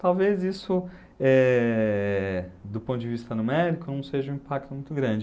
Talvez isso, eh, do ponto de vista numérico, não seja um impacto muito grande.